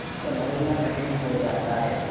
फिर सँभलना कठिन हो जाता है